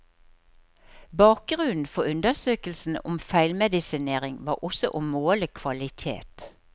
Bakgrunnen for undersøkelsen om feilmedisinering var også å måle kvalitet.